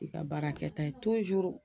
I ka baarakɛ ta ye